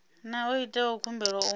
na o itaho khumbelo u